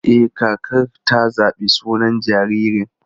E, kakar ta zaɓi sunan jaririn.